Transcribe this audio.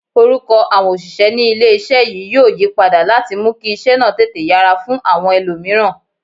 Orúkọ àwọn òṣìṣẹ́ ní ilé-iṣẹ́ yìí yóò yí padà láti mú kí iṣẹ́ náà tètè yára fún àwọn ẹlòmíràn